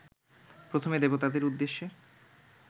প্রথমে দেবতাদের উদ্দেশ্যে